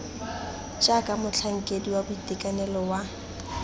jaaka motlhankedi wa boitekanelo wa